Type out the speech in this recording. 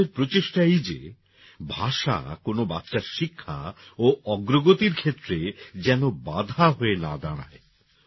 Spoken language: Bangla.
আমাদের প্রচেষ্টা এই যে ভাষা কোন বাচ্চার শিক্ষা ও অগ্রগতির ক্ষেত্রে যেন না বাধা হয়ে দাঁড়ায়